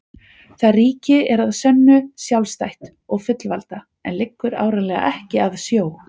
Það ríki er að sönnu sjálfstætt og fullvalda en liggur áreiðanlega ekki að sjó.